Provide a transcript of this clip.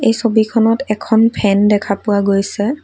ছবিখনত এখন ফেন দেখা পোৱা গৈছে।